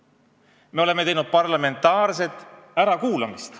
Me oleme korraldanud parlamentaarset ärakuulamist.